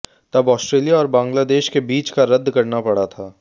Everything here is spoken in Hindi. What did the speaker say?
तब ऑस्ट्रेलिया और बांग्लादेश के बीच का रद्द करना पड़ा था